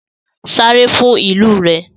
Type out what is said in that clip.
Sáré fún ìlú rẹ!